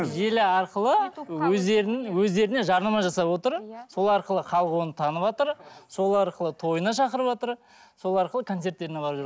желі арқылы өздерін өздеріне жарнама жасап отыр сол арқылы халық оны таныватыр сол арқылы тойына шақырватыр сол арқылы концерттеріне барып жүр